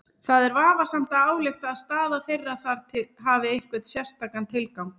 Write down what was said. Það er vafasamt að álykta að staða þeirra þar hafi einhvern sérstakan tilgang.